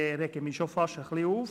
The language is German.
Ich rege mich fast ein wenig auf.